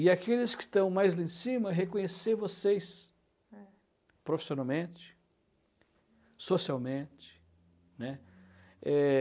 E aqueles que estão mais lá em cima, reconhecer vocês... É. Profissionalmente, socialmente, né? Eh...